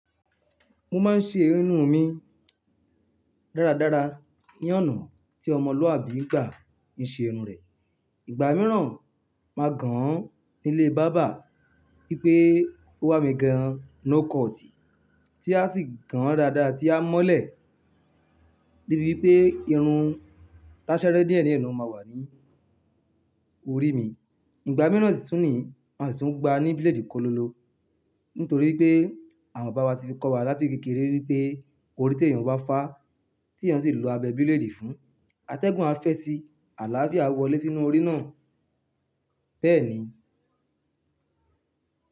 Mo máa ń ṣe irun mi dáradára. Ní ọ̀nà tí ọmọlúàbí gbà ń ṣe irun rẹ̀. Ìgbà mìíràn máa gan an nílé báábà wípé ó wà mí gan lo-kọọ̀-tí a sì gan dáadáa tí a mọ́lẹ̀ Débí wipé irun táṣẹ́rẹ́ díẹ̀ díẹ̀ ni ó máa wà ní orí mi. Ìgbà mìíràn sì tún ní, màá sì tún gba ní bílèèdì kó lọ lọ. Nítorí pé àwọn bàbá wa ti fi kọ́ wa láti kékeré wípé orí tó èèyàn wá fá, tí èèyàn sì lọ abẹ bírèèdì fún, atẹ́gùn a fẹ́ ti àlàáfíà wọlé sínú orí náà. Bẹ́ẹ̀ ni.